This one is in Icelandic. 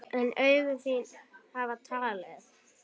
En augu þín hafa talað.